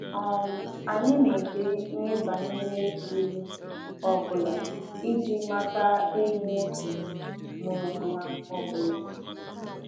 um Anyị na-ede ihe banyere ịlụ ọ bụla iji mata ehi nwoke mụrụ nwa ọ bụla